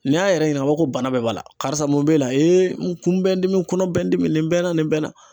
N'i y'a yɛrɛ ɲininka a b'a fɔ ko bana bɛɛ b'a la karisa mun b'e la n kun bɛ n dimi n kɔnɔ bɛ n dimi nin bɛ n na nin bɛ n na